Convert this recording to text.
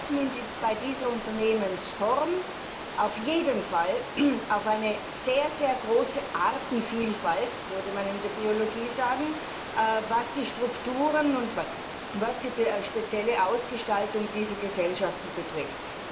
Wir treffen bei dieser Unternehmensform auf jeden Fall auf eine sehr große Artenvielfalt wie man in der Biologie sagen würde was die Strukturen und die spezielle Ausgestaltung dieser Gesellschaften betrifft.